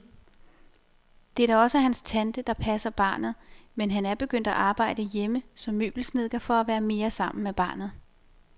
Det er da også hans tante, der passer barnet, men han er begyndt at arbejde hjemme som møbelsnedker for at være mere sammen med barnet.